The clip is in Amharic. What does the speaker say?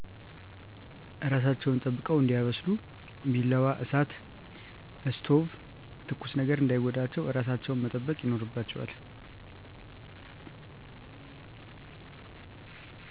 እራሣቸውን ጠብቀው እዲያበስሊ። ቢላዋ፣ እሣት(እስቶብ)ትኩስ ነገር እዳይጎዳቸው። እራሣቸውን መጠበቅ ይኖርባቸዋል።